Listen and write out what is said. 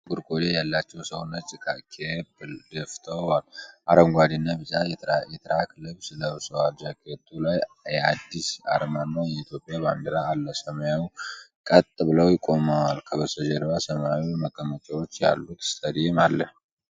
አንድ ጥቁር ቆዳ ያላቸው ሰው ነጭ ካፕ ደፍተው፣ አረንጓዴ እና ቢጫ የትራክ ልብስ ለብሰዋል። ጃኬቱ ላይ የአዲስ (Adidas) አርማና የኢትዮጵያ ባንዲራ አለ። ሰውየው ቀጥ ብለው ቆመዋል፡፡ ከበስተጀርባ ሰማያዊ መቀመጫዎች ያሉት ስታዲየም አለ።